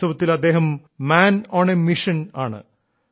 വാസ്തവത്തിൽ അദ്ദേഹം man on a mission ആണ്